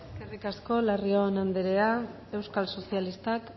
eskerrik asko larrion anderea euskal sozialistak